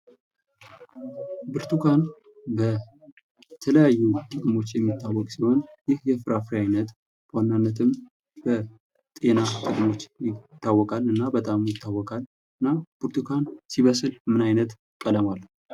ብርቱካን በተለያዩ ጥቅሞች የሚታወቅ ሲሆን ይህ የፍራፍሬ ዓይነትም በዋናነትም በጤና ጥቅሞች ይታወቃል እና በጣም ይታወቃል እና ብርቱካን ሲበስል ምን ዓይነት ቀለም አለው?